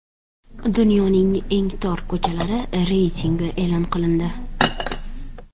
Dunyoning eng tor ko‘chalari reytingi e’lon qilindi .